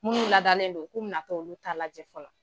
Munnu ladalen don ku bɛ nato olu ta lajɛ fɔlɔ.